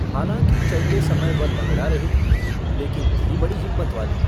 हालाँकि चलते समय वह लँगड़ा रही थी, लेकिन थी बड़ी हिम्मत वाली।